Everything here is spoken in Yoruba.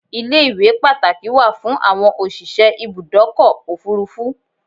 Ilé-iwé Pàtàkì wà fún àwọn òsìse Ibùdọ́kọ̀ òfúrufú